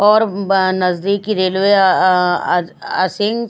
और ब नजदीकी रेलवे अह अह अह सी--